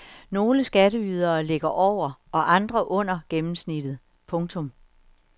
Nogle skatteydere ligger over og andre under gennemsnittet. punktum